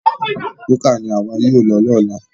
Búkà ní àwa yóò lọ ní ọ̀la